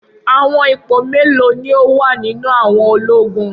Awọn ipo melo ni o wa ninu awọn ologun?